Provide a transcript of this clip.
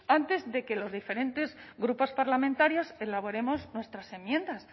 antes de que los diferentes grupos parlamentarios elaboremos nuestras enmiendas